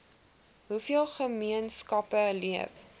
hoeveel gemeenskappe leef